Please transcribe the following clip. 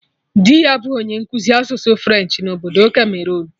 Dị ya bụ onye nkụzi asụsụ French na obodo Cameroon